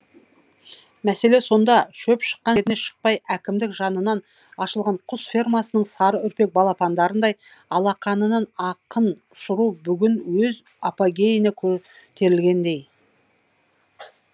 мәселе сонда шөп шыққан жеріне шықпай әкімдік жанынан ашылған құс фермасының сары үрпек балапандарындай алақанынын ақын ұшыру бүгін өз апогейіне көтерілгендей